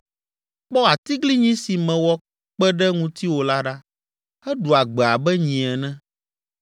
“Kpɔ atiglinyi si mewɔ kpe ɖe ŋutiwò la ɖa, eɖua gbe abe nyi ene.